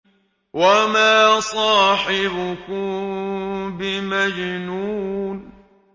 وَمَا صَاحِبُكُم بِمَجْنُونٍ